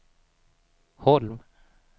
Holm